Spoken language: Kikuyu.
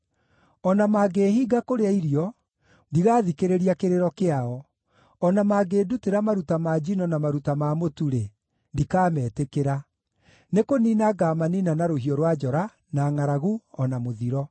O na mangĩĩhinga kũrĩa irio, ndigathikĩrĩria kĩrĩro kĩao; o na mangĩndutĩra maruta ma njino na maruta ma mũtu-rĩ, ndikametĩkĩra. Nĩ kũniina ngaamaniina na rũhiũ rwa njora, na ngʼaragu, o na mũthiro.”